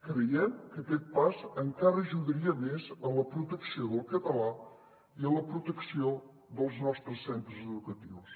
creiem que aquest pas encara ajudaria més a la protecció del català i a la protecció dels nostres centres educatius